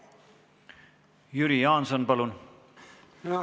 Jüri Jaanson, palun!